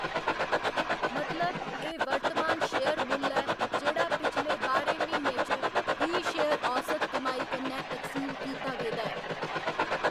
मतलब, एह्‌‌ वर्तमान शेयर मुल्ल ऐ जेह्‌‌ड़ा पिछले बाह्‌रें म्हीनें च फी शेयर औसत कमाई कन्नै तकसीम कीता गेदा ऐ।